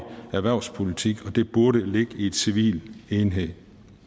erhvervspolitik og det burde ligge i en civil enhed